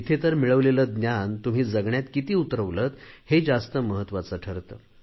तिथे तर मिळवलेले ज्ञान तुम्ही जगण्यात किती उतरवलेत हे जास्त महत्त्वाचे ठरते